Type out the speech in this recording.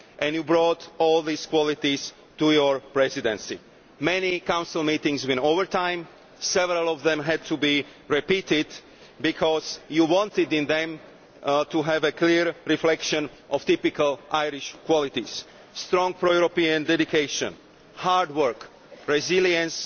You brought all these qualities to your Presidency. Many Council meetings ran over time and several of them had to be repeated because you wanted them to have a clear reflection of typical Irish qualities strong pro European dedication, hard work, resilience